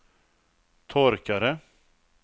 torkare